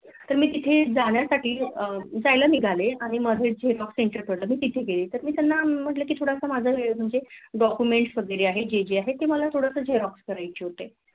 तर मी तिथे जाण्यासाठी जायला निघाले आणि मध्ये Zerox Center पडला मग तिथे गेले त्याना म्हटलं कि थोडस माझं Document वैगेरे आहेत थोडस जेजे आहे ते मला Zerox करायचे होते